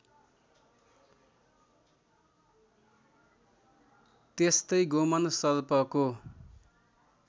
त्यस्तै गोमन सर्पको